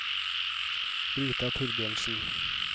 Brita Thorbjørnsen